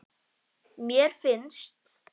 Mér finnst.